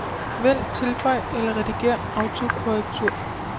Vælg tilføj eller redigér autokorrektur.